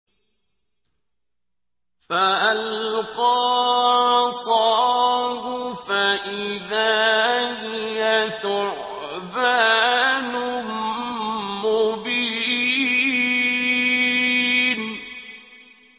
فَأَلْقَىٰ عَصَاهُ فَإِذَا هِيَ ثُعْبَانٌ مُّبِينٌ